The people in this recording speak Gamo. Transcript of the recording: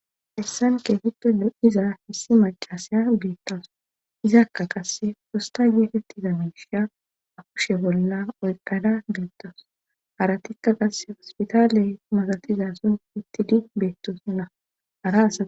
Hessan keetito nu7iza hissi macasya beettawus izakka qasse fosta yeetetti za misha akushe bolla oyqqada beettawus haratikka qasse ospitaaley masatizason ittidi beettosnna.